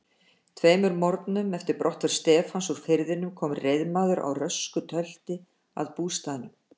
Tveimur morgnum eftir brottför Stefáns úr firðinum kom reiðmaður á rösku tölti að bústaðnum.